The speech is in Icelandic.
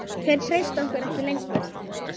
Þeir treysta okkur ekki lengur.